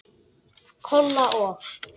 Kolla og